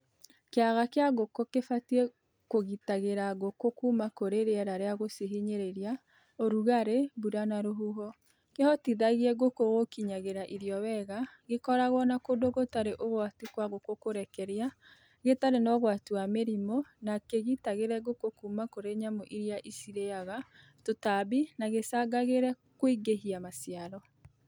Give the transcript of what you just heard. Kĩaga kĩa ngũkũ kibatiĩ kũgitagĩra ngũkũ kuma kurĩ rĩera rĩa gũcihinyĩrĩria (ũrugarĩ, mbura na rũhuho), kĩhotithagie ngũkũ gũkinyagĩra irio wega, gĩkoragwo na kũndũ gũtarĩ ũgwati kwa ngũkũ kũrekeria, gĩtarĩ na ũgwati wa mĩrimũ na kĩgitagĩre ngũkũ kuma kurĩ nyamu iria icirĩaga/tũtambi na gĩcangagĩre kũingĩhia maciaro.